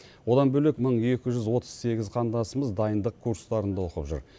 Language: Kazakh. одан бөлек мың екі жүз отыз сегіз қандасымыз дайындық курстарында оқып жүр